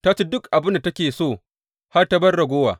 Ta ci duk abin da take so har ta bar ragowa.